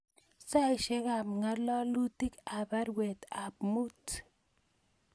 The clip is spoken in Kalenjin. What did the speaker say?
Saisyek ab ngalalutic ab baruet ab amut